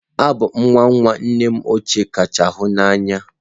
Abụ m nwa nwa nnem ụkwụ kacha hụ na anya.